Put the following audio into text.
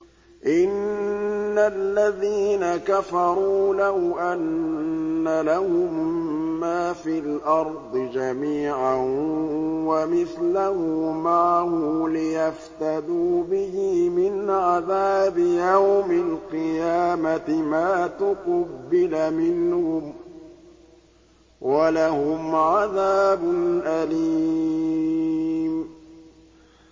إِنَّ الَّذِينَ كَفَرُوا لَوْ أَنَّ لَهُم مَّا فِي الْأَرْضِ جَمِيعًا وَمِثْلَهُ مَعَهُ لِيَفْتَدُوا بِهِ مِنْ عَذَابِ يَوْمِ الْقِيَامَةِ مَا تُقُبِّلَ مِنْهُمْ ۖ وَلَهُمْ عَذَابٌ أَلِيمٌ